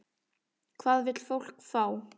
Hvað vill fólk fá?